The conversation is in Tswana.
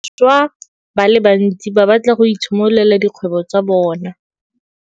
Bašwa ba le bantsi ba batla go itshimololela dikgwebo tsa bona.